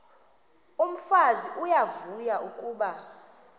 umfazi uyavuya kuba